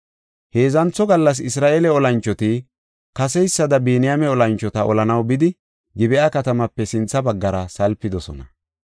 Heedzantho gallas Isra7eele olanchoti kaseysada Biniyaame olanchota olanaw bidi, Gib7a katamaape sintha baggara salpidosona.